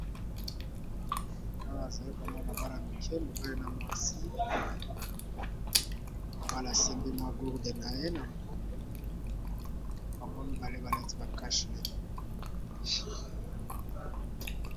Awa namoni balakisi biso bana mike mibale moko aza mwana mwasi na mosusu aza mwana mobali